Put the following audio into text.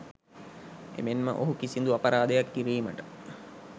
එමෙන් ම ඔහු කිසිදු අපරාධයක් කිරීමට